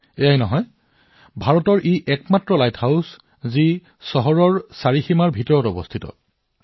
কেৱল সেইটোৱেই নহয় এইটো ভাৰতৰ একমাত্ৰ লাইট হাউচ যি চহৰৰ সীমাৰ ভিতৰত অৱস্থিত